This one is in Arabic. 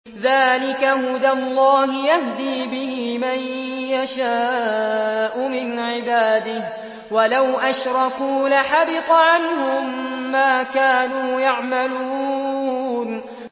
ذَٰلِكَ هُدَى اللَّهِ يَهْدِي بِهِ مَن يَشَاءُ مِنْ عِبَادِهِ ۚ وَلَوْ أَشْرَكُوا لَحَبِطَ عَنْهُم مَّا كَانُوا يَعْمَلُونَ